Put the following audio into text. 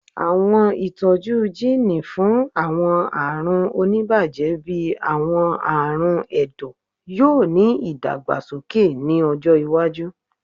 Awọn itọju jiini fun awọn arun onibaje bii awọn arun ẹdọ yoo ni idagbasoke ni ọjọ iwaju